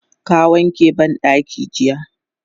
Ka wanke bandakin jiya?